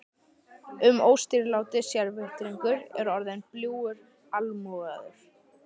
Inn óstýriláti sérvitringur er orðinn bljúgur almúgamaður.